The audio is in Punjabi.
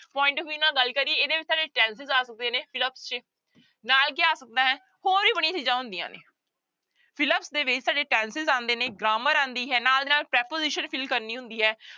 Point of view ਨਾਲ ਗੱਲ ਕਰੀਏ ਇਹਦੇ ਵਿੱਚ ਸਾਡੇ tenses ਆ ਸਕਦੇ ਨੇ fill up ਚ, ਨਾਲ ਕੀ ਆ ਸਕਦਾ ਹੈ ਹੋਰ ਵੀ ਬੜੀਆਂ ਚੀਜ਼ਾਂ ਹੁੰਦੀਆਂ ਨੇ fill up ਦੇ ਵਿੱਚ ਸਾਡੇ tenses ਆਉਂਦੇ ਨੇ grammar ਆਉਂਦੀ ਹੈ ਨਾਲ ਦੀ ਨਾਲ preposition fill ਕਰਨੀ ਹੁੰਦੀ ਹੈ।